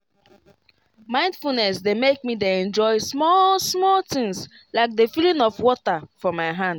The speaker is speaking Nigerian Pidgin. mindfulness dey make me dey enjoy small-small things like the feeling of water for my hand.